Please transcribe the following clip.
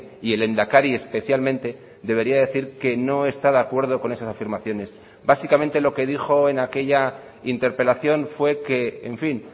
y el lehendakari especialmente debería decir que no está de acuerdo con esas afirmaciones básicamente lo que dijo en aquella interpelación fue que en fin